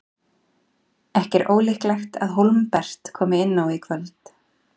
Ekki er ólíklegt að Hólmbert komi inn á í kvöld.